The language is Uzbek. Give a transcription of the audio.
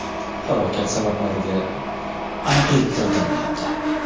Halokat sabablariga aniqlik kiritilmayapti.